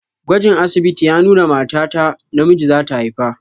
Gwajin asibiti ya nuna mata ta namiji zata haifa.